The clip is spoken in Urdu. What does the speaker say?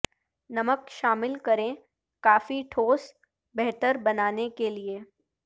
نمک شامل کریں کافی ٹھوس بہتر بنانے کے لئے